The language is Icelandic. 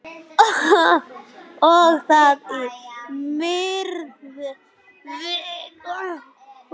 Og það í miðri viku.